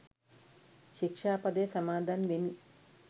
ශික්‍ෂාපදය සමාදන් වෙමි.